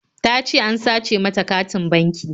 Ta ce an sace mata katin banki